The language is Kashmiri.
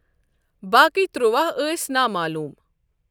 باقٕی ترٛووَہ ٲس نامعلوٗم۔